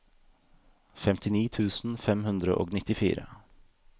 femtini tusen fem hundre og nittifire